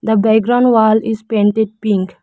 The background wall is painted pink.